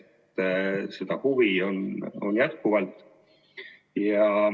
Seda huvi on jätkuvalt.